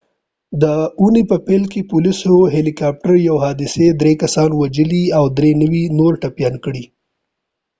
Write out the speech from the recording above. ددی اوونی په پیل کی د پولیسود هیلی کاپتر یوی حادثی د دری کسان وژلی او دری نور ټپیان کړی وه